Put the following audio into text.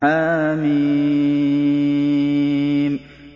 حم